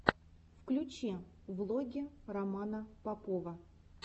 включи влоги романа попова